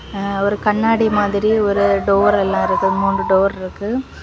ஆஆ ஒரு கண்ணாடி மாதிரி ஒரு டோர் எல்லா இருக்கு மூணு டோர் இருக்கு.